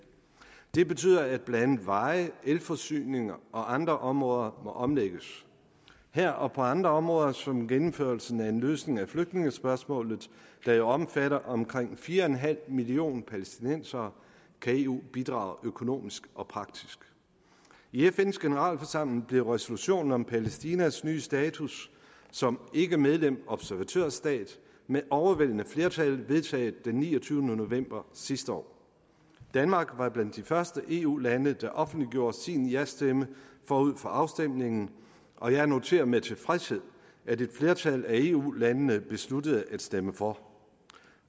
det betyder at blandt andet veje elforsyning og andre områder må omlægges her og på andre områder som gennemførelse af en løsning af flygtningespørgsmålet der jo omfatter omkring fire en halv millioner palæstinensere kan eu bidrage økonomisk og praktisk ved fns generalforsamling blev resolutionen om palæstinas nye status som ikkemedlem observatørstat med overvældende flertal vedtaget den niogtyvende november sidste år danmark var blandt de første eu lande der offentliggjorde sin jastemme forud for afstemningen og jeg noterer med tilfredshed at et flertal af eu landene besluttede at stemme for